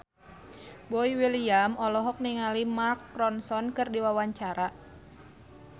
Boy William olohok ningali Mark Ronson keur diwawancara